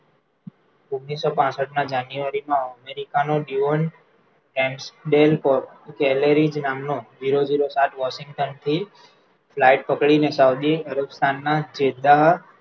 ઓગણીસો પાંસઠ ના જાનયુઆરી અમેરિકાનો zero zero સાત વૉશિંગ્ટન થી flight પકડી સાઉદી અરબસ્થાનમાં સીધા